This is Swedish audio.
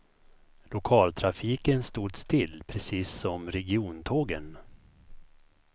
Lokaltrafiken stod still, precis som regiontågen.